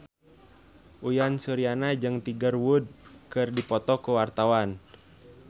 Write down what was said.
Uyan Suryana jeung Tiger Wood keur dipoto ku wartawan